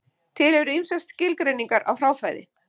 Til eru ýmsar skilgreiningar á hráfæði.